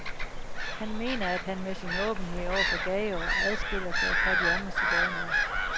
Han mener, at han med sin åbenhed over for gajoer adskiller sig fra de andre sigøjnere.